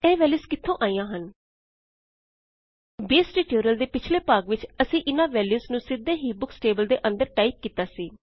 ਇਹ ਵੈਲਯੂਜ਼ ਕਿੱਥੋ ਆਈਆਂ ਹਨ ਬੇਸ ਟਿਯੂਟੋਰਿਅਲ ਦੇ ਪਿਛਲੇ ਭਾਗ ਵਿਚ ਅਸੀਂ ਇਨਾਂ ਵੈਲਯੂਜ਼ ਨੂੰ ਸਿੱਧੇ ਹੀ ਬੁਕਸ ਟੇਬਲ ਦੇ ਅੰਦਰ ਟਾਇਪ ਕੀਤਾ ਸੀ